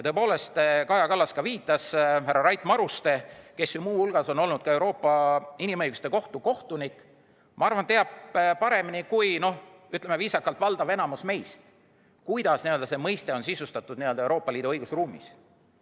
Kaja Kallas viitas härra Rait Marustele, kes ju muu hulgas on olnud ka Euroopa Inimõiguste Kohtu kohtunik ja teab, ma arvan, paremini kui, ütleme viisakalt, valdav enamik meist, kuidas see mõiste on sisustatud Euroopa Liidu õigusruumis.